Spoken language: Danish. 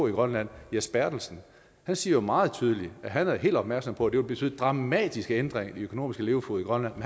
i grønland jes bertelsen han siger jo meget tydeligt at han er helt opmærksom på at det vil betyde dramatiske ændringer i den økonomiske levefod i grønland